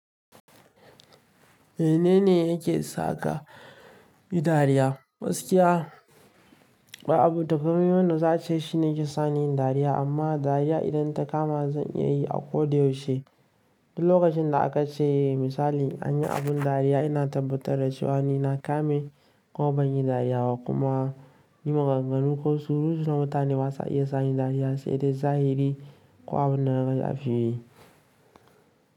Menene yake saka yi dariya? Gaskiya ba abu takama yadda za a ce shine yake sani dariya amma dariya idan ta kama zan iya yi a ko da yaushe. Duk lokacin da aka ce misali an yi abin dariya ina tabbatar da cewa ni na kame ko ban yi dariya ba kuma yin maganganu ko surutu na mutane ba za a iya sa ni dariya sai dai zahiri ko abun da na ga a fili.